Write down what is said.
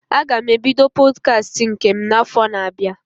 Aga m ebido Pọdkast nke m na afọ na abịa